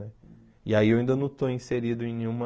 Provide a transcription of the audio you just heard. E aí eu ainda não estou inserido em nenhuma...